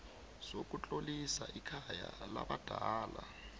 sokutlolisa ikhaya labadala